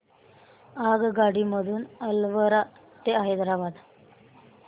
आगगाडी मधून अलवार ते हैदराबाद